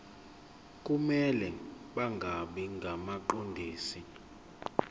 kumele bangabi ngabaqondisi